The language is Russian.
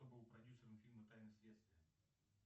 кто был продюсером фильма тайны следствия